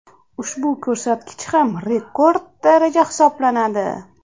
Ushbu ko‘rsatkich ham rekord daraja hisoblanadi.